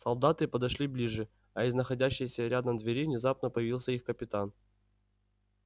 солдаты подошли ближе а из находящейся рядом двери внезапно появился их капитан